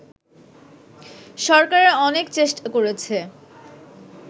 সরকার অনেক চেষ্টা করছে